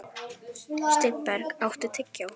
Steinberg, áttu tyggjó?